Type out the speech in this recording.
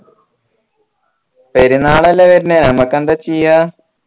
പെരുന്നാളല്ലേ വെരുന്നേ നമ്മക് ന്താ ചെയ്യാ